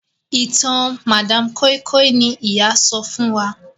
ìtàn madam koi koi ní ìyá sọfún wón.